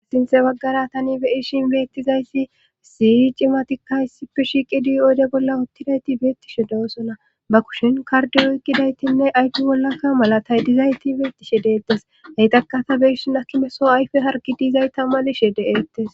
asinte waggara tani beyishin beettizaysi siyi cimatikka issippe shiqidi oode bolla uttidayti beettishe doosona ba kushin kardi wiqidaytinne ayki bollakka mala tay dizayti beettishe deettes heytakkata beyssun akimesoo ayfe hargi diizay tamalishe de7eettes